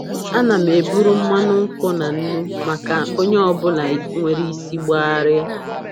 Ana m eburu mmanụ nkwụ na nnu maka onye ọ bụla nwere isi gbagharia.